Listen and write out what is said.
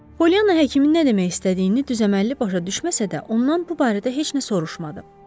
Polyanna həkimin nə demək istədiyini düzəməlli başa düşməsə də, ondan bu barədə heç nə soruşmadı.